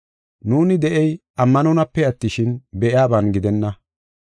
Nuuni de7ey ammanonape attishin, be7iyaban gidenna.